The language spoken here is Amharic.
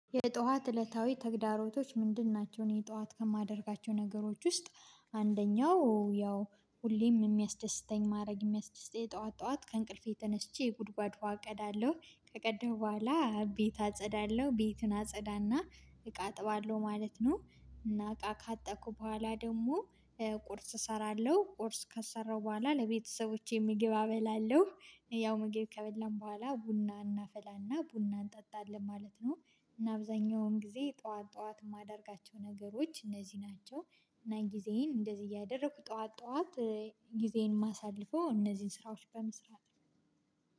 የጧት እለታዊ ተግዳሮቶች ምንድን ናቸው? እኔ ጧት ከማደርጋቸው ነገሮች ውስጥ አንደኛው ያው ሁሌም የሚያስደስተኝ ማረግ የሚያስደስተኝ ጠዋት ጠዋት ከእንቅልፌ ተነስቼ የጉድጔድ ውሃ እቀዳለሁ፤ ከቀዳሁ በኋላ ቤት አጸዳለሁ፤ ቤቱን አጸዳና እቃ አጥባለሁ ማለት ነው። እና እቃ ካጠብኩ በኋላ ደግሞ ቁርስ እሰራለሁ፤ ቁርስ ከሰራሁ ቡኋላ ለቤተሰቦቼ ምግብ አበላለሁ ያው መገቢ ከበላን በኋላ ቡና እናፈላና ቡና እንጠጣለን ማለት ነው። እና አብዛኛውን ጊዜ ጠዋት ጠዋት የማደርጋቸው ነገሮች እነዚህ ናቸው። እና ጊዜዬን እንደዚህ እያደረኩ ጠዋት ጠዋት ጊዜን ማሳልፎ እነዚህን ስራዎች በመስራት